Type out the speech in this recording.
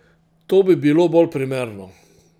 To bi bilo bolj primerno.